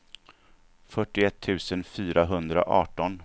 fyrtioett tusen fyrahundraarton